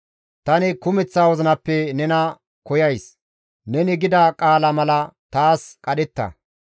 Tani kumeththa wozinappe nena koyays; neni gida qaala mala taas qadhetta.